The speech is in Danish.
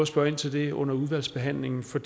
spørge ind til det under udvalgsbehandlingen for